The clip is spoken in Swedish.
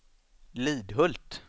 Lidhult